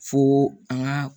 Fo an ka